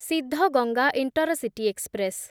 Siddaganga intercity express